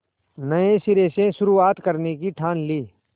नए सिरे से शुरुआत करने की ठान ली